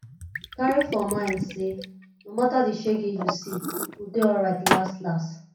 carry for mind say no matter di shege you see you go de alright las las